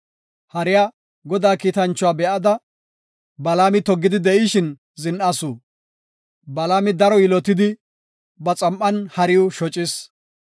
Hariya Godaa kiitanchuwa be7ada, Balaami toggidi de7ishin zin7asu; Balaami daro yilotidi, ba xam7an hariw shocis.